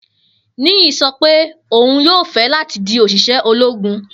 Niyi sọ pe oun yoo fẹ lati di oṣiṣẹ ologun.